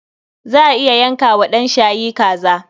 Za a iya yanka wa ɗan shayi kaza.